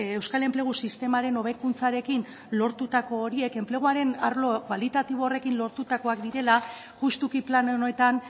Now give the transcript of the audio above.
euskal enplegu sistemaren hobekuntzarekin lortutako horiek enpleguaren arlo kualitatibo horrekin lortutakoak direla justuki plan honetan